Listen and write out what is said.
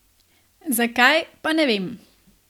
Zakaj, pa ne vem.